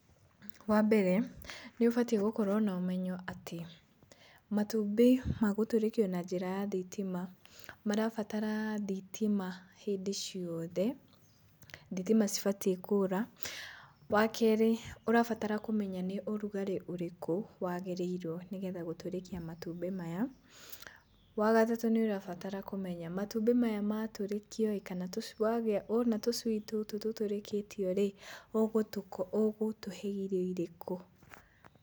Wambere, ni ũbatiĩ gũkorũo na ũmenyo atĩ matumnbĩ ma gũtũrĩkio na njĩra ya thitima marabatara thitima hĩndĩ ciothe, thitima citibatiĩ kũũra. Wa kerĩ ũrabatara kũmenya nĩ ũrugarĩ ũrĩkũ waagĩrĩirũo nĩgetha gũtũrĩkia matumbĩ maya. Wa gatatũ nĩ ũrabatara kũmenya matumbĩ maya matũrĩkio ĩĩ, kana wona tũcui tũtũ tũtũrĩkĩtio rĩ, ũgũtũhe irio irĩkũ.